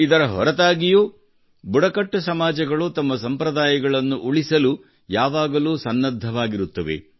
ಇದರ ಹೊರತಾಗಿಯೂ ಬುಡಕಟ್ಟು ಸಮಾಜಗಳು ತಮ್ಮ ಸಂಪ್ರದಾಯಗಳನ್ನು ಉಳಿಸಲು ಯಾವಾಗಲೂ ಸನ್ನದ್ಧವಾಗಿರುತ್ತವೆ